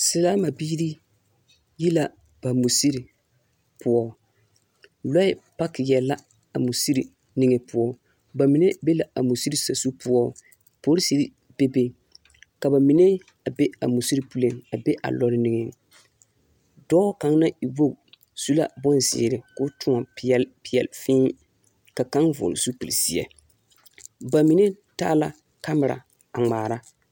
Selaama biiri yi la ba misiri poͻ. Lͻԑ pakeԑ la a musiri niŋe poͻ. Ba mine be la a musiri sazu poͻ. Polisiri bebe. Ka ba mine a be a musiri puliŋ a be a lͻre niŋeŋ. Dͻͻ kaŋ naŋ e wogi su la bonzeere koo tõͻne peԑle peԑle fēē ka kaŋ vͻgele zupili zeԑ ba mine taa la kamera a ŋmaara.